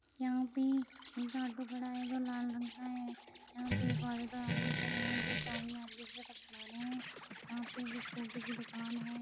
यहाँ पे एक ऑटो खड़ा है जो लाल रंग का है। यहाँ पे एक औरत और आदमी खड़े हैं जो चाबी एक दूसरे को पकड़ा रहे हैं। यहाँ पे एक स्कूटी की दुकान है।